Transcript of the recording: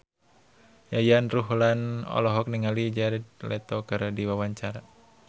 Yayan Ruhlan olohok ningali Jared Leto keur diwawancara